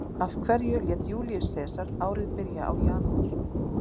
Af hverju lét Júlíus Sesar árið byrja á janúar?